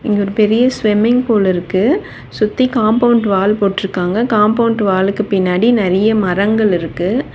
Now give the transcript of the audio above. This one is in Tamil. இங்க ஒரு பெரிய ஸ்விம்மிங் பூல் இருக்கு சுத்தி காம்பவுண்ட் வால் போட்ருக்காங்க காம்பவுண்ட் வாலுக்கு பின்னாடி நெறைய மரங்கள் இருக்கு.